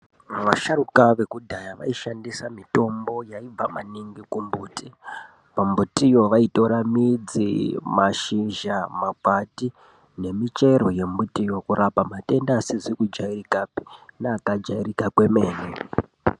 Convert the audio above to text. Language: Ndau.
Vasharuka vekudhaya vaishandisa mitombo yaibva maningi kumbiti kumitiyo vaitora mashizha makwati nemichero yemitiyo kurapa matenda asikazikujairikapi neakajairika kwemene .